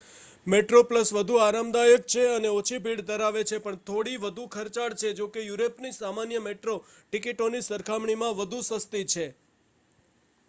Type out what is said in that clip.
Metroplus વધુ આરામદાયક છે અને ઓછી ભીડ ધરાવે છે પણ થોડી વધુ ખર્ચાળ છે જોકે યુરોપની સામાન્ય મેટ્રો ટિકિટોની સરખામણીમાં વધુ સસ્તી છે